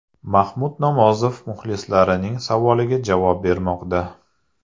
Mahmud Nomozov muxlislarining savoliga javob bermoqda.